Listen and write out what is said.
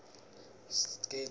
sigidza ingadla